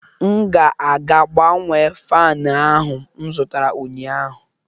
M ga-aga gbanwee fan ahụ m zụtara ụnyaahụ